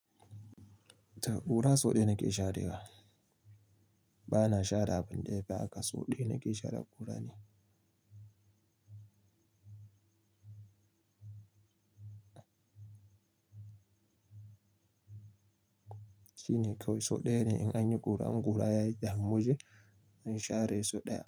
To kura so ɗaya nake sharewa. Bana share abin da ya fi haka, so daya nake share kurar nan. Shine kawai so ɗaya ne in an yi kura in kura yayi damu waje, a share so ɗaya.